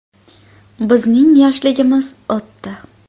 “Bizning yoshligimiz o‘tdi.